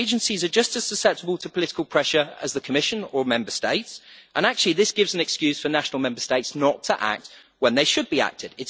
Agencies are just as susceptible to political pressure as the Commission or Member States, and this gives an excuse for national Member States not to act when they should be acting.